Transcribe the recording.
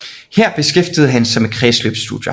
Her beskæftigede han sig med kredsløbsstudier